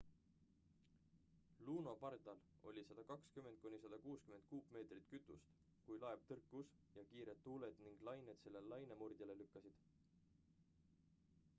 luno pardal oli 120-160 kuupmeetrit kütust kui laev tõrkus ja kiired tuuled ning lained selle lainemurdjale lükkasid